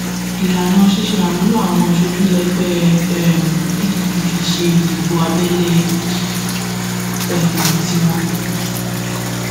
láìpẹ yìí kóòtù ju alága àjọ efcc sọgbà ẹwọn nítorí pé ó hùwà tó ta ko àṣẹ iléẹjọ